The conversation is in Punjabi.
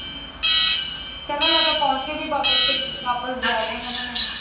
ਕਹਿੰਦਾ ਮੈ ਤਾ ਪਹੁੰਚ ਕੇ ਵੀ ਵਾਪਸ ਜਾ ਰਿਹਾ ਮੈ।